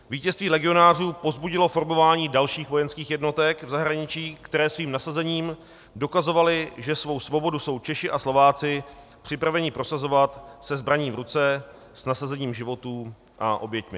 Vítězství legionářů povzbudilo formování dalších vojenských jednotek v zahraničí, které svým nasazením dokazovaly, že svou svobodu jsou Češi a Slováci připraveni prosazovat se zbraní v ruce, s nasazením životů a oběťmi.